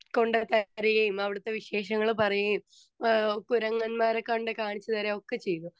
Speaker 2 കൊണ്ട് തരികയും അവിടുത്തെ വിശേഷങ്ങൾ പറയുകയും ആഹ്‌ കുരങ്ങന്മാരെ കൊണ്ട് കാണിച്ചുതരികയും ഒക്കെ ചെയ്തു.